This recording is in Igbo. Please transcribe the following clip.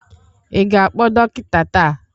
Ị ga-akpọ dọkịta taa?